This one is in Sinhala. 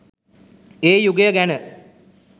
ඒ යුගය ගැන